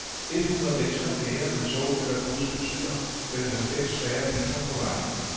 Et hundrede mennesker mere med tog eller bus betyder vel halvfems færre biler på vejene.